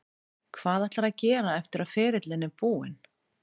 Hvað ætlarðu að gera eftir að ferilinn er búinn?